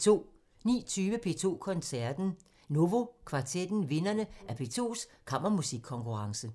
19:20: P2 Koncerten – Novo kvartetten – vinderne af P2s Kammermusikkonkurrence